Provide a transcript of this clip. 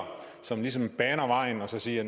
som ligesom baner vejen og siger